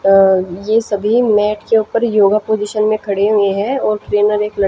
अह ये सभी मैट के ऊपर योगा पोजिशन में खड़े हुए हैं और ट्रेनर एक--